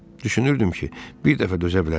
Düşünürdüm ki, bir dəfə dözə bilərəm.